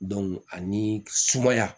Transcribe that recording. ani sumaya